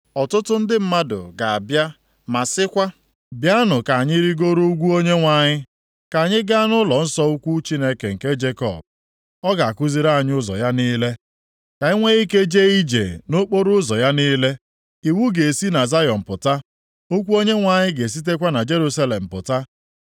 Ọtụtụ ndị mmadụ ga-abịa ma sịkwa, “Bịanụ, ka anyị rigoruo ugwu Onyenwe anyị, ka anyị gaa nʼụlọnsọ ukwu Chineke nke Jekọb. Ọ ga-akụziri anyị ụzọ + 2:3 Ya bụ, ụkpụrụ ya niile, ka anyị nwe ike jee ije nʼokporoụzọ ya niile.” + 2:3 \+xt Zek 8:21-23\+xt* Iwu ga-esi na Zayọn pụta, okwu Onyenwe anyị ga-esitekwa na Jerusalem pụta. + 2:3 \+xt Luk 24:47\+xt*